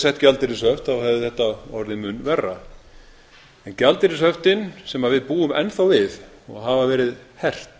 sett gjaldeyrishöft þá hefði þetta orðið mun verra en gjaldeyrishöftin sem við búum enn þá við og hafa verið hert